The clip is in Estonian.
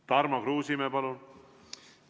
Tarmo Kruusimäe, palun!